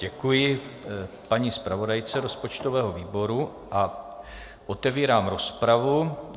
Děkuji paní zpravodajce rozpočtového výboru a otevírám rozpravu.